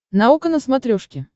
наука на смотрешке